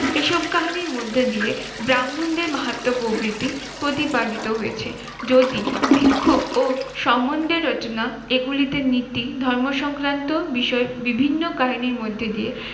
এসব কাহিনীর মধ্যে দিয়ে ব্রাহ্মণদের মাহাত্ম্য প্রভৃতি প্রতিপালিত হয়েছে। যদি ভিক্ষুক ও সম্বন্ধের রচনা এগুলিতে নীতি ধর্ম সংক্রান্ত বিষয় বিভিন্ন কাহিনীর মধ্যে দিয়ে